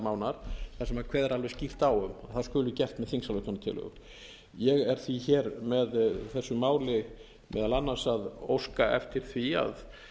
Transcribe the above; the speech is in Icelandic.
mánaðar þar sem er kveðið alveg skýrt á um að það skuli gert með þingsályktunartillögu ég er því hér með þessu máli meðal annars að óska eftir því að